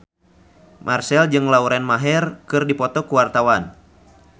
Marchell jeung Lauren Maher keur dipoto ku wartawan